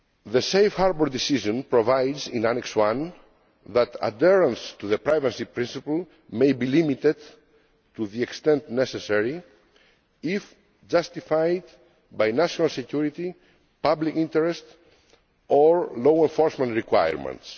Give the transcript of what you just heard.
The Safe Harbour decision provides in Annex I that adherence to the privacy principle may be limited to the extent necessary, if justified by national security, public interest or law enforcement requirements.